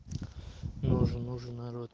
нужен нужен народ